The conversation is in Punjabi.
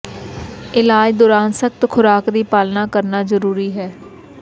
ਇਲਾਜ ਦੌਰਾਨ ਸਖਤ ਖੁਰਾਕ ਦੀ ਪਾਲਣਾ ਕਰਨਾ ਜ਼ਰੂਰੀ ਹੈ